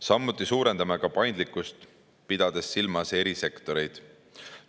Samuti suurendame paindlikkust, pidades silmas eri sektoreid.